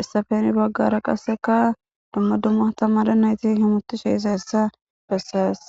essafe heni baggara qasseka dumma dumma tammada nayti himutishe iza hessa besses